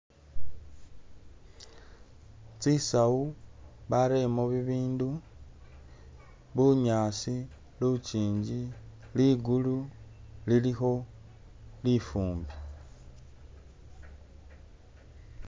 Tsisawu bareyemo bibindu bunyaasi luchingi ligulu lilikho lifumbi